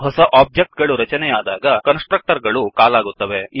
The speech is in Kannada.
ಹೊಸ ಒಬ್ಜೆಕ್ಟ್ ಗಳು ರಚನೆಯಾದಾಗ ಕನ್ಸ್ ಟ್ರಕ್ಟರ್ ಗಳು ಕಾಲ್ ಆಗುತ್ತದೆ